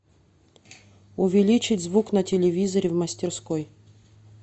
увеличить звук на телевизоре в мастерской